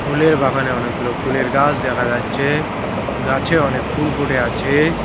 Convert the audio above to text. ফুলের বাগানে অনেকগুলো ফুলের গাছ দেখা যাচ্ছে গাছে অনেক ফুল ফুটে আছে।